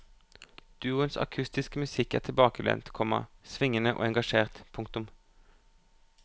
Duoens akustiske musikk er tilbakelent, komma svingende og engasjert. punktum